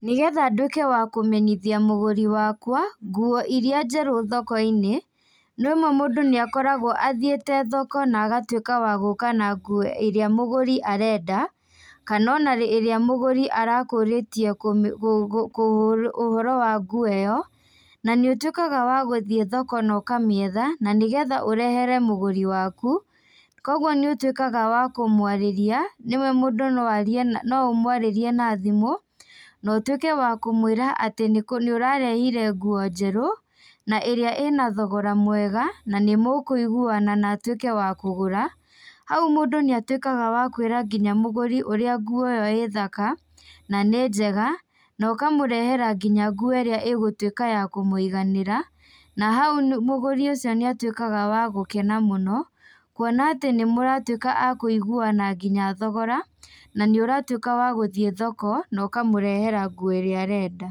Nĩgetha ndwĩke wa kũmenyithia mũgũri wakwa, nguo iria njerũ thoko-inĩ, rĩmwe mũndũ nĩakoragwo athiĩte thoko na agatuĩka wa gũka na nguo ĩrĩa mũgũri arenda, kana o na ĩrĩa mũgũri arakũrĩtie ũhoro wa nguo ĩyo, na nĩũtuĩkaga wa gũthiĩ thoko nokamĩetha, na nĩgetha ũrehere mũgũri waku, koguo nĩũtuĩkaga wa kũmũarĩria, rĩmwe mũndũ noarie na no ũmwarĩrie na thimũ, notĩuke wa kũmwĩra kwĩ atĩ nĩũrarehire nguo njerũ, na ĩrĩa ĩna thogora mwega, na nĩmũkũiguana na atuĩke wa kũgũra, hau mũndũ nĩatuĩkaga wa kwĩra nginya mũgũri ũrĩa nguo ĩyo ĩ thaka, nanĩ njega, nokamũrehera nginya nguo ĩrĩa ĩgũtuĩka ya kũmũiganĩra, na hau nĩ mũgũri ũcio nĩatuĩkaga wa gukena mũno, kuona atĩ nĩmũratuĩka akũiguana nginya thogora, na nĩũratuĩka wa gũthiĩ thoko, nokamũrehera nguo ĩrĩa arenda.